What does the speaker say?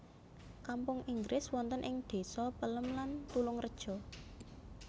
Kampung Inggris wonten ing désa Pelem lan Tulungreja